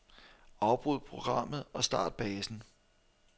Afbryd programmet og start basen.